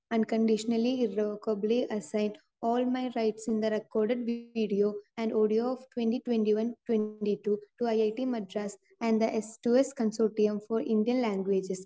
Speaker 2 unconditionally, irrevocably assign all my rights in the record video and audio of 2021-2022 to IIT Madras and the സ്‌2സ്‌ consortium for Indian languages.